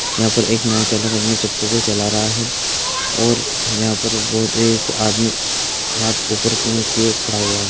यहां पर एक नाव चालक अपनी चप्पू को चला रहा है और यहां पर ब- एक आदमी हाथ ऊपर किये हुए खड़ा है।